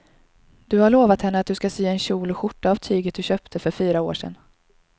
Du har lovat henne att du ska sy en kjol och skjorta av tyget du köpte för fyra år sedan.